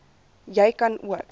jy kan ook